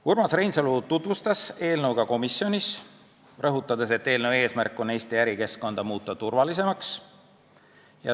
Urmas Reinsalu tutvustas eelnõu ka komisjonis, rõhutades, et eelnõu eesmärk on muuta Eesti ärikeskkond turvalisemaks.